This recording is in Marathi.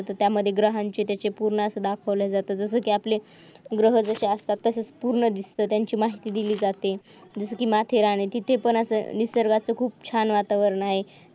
त्यामध्ये ग्रहांचे त्याचे पूर्णत दाखवलं जातं जसं की आपलेग्रहदशा असता तरपूर्वीच त्यांची दिली जातील जसं गृहरक्षक सत्तावीसपूर्वी त्यांची लागते दिली जाते की माथेरान तिथे पण अस निसर्गाचं खूप छान वातावरण आहे